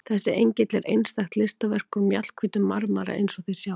Þessi engill er einstakt listaverk úr mjallhvítum marmara eins og þið sjáið.